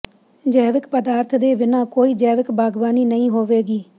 ਜੈਵਿਕ ਪਦਾਰਥ ਦੇ ਬਿਨਾਂ ਕੋਈ ਜੈਵਿਕ ਬਾਗਬਾਨੀ ਨਹੀਂ ਹੋਵੇਗੀ